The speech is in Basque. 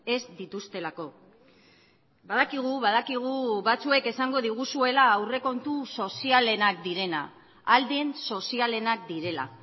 ez dituztelako badakigu badakigu batzuek esango diguzuela aurrekontu sozialenak direna ahal den sozialenak direla